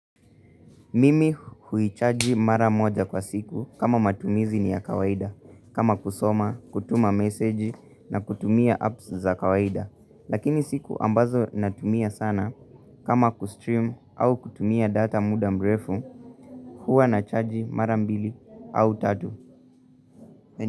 Mimi huichaji mara moja kwa siku kama matumizi ni ya kawaida. Kama kusoma, kutuma message na kutumia apps za kawaida. Lakini siku ambazo natumia sana kama kustream au kutumia data muda mrefu. Huwa nachaji mara mbili au tatu.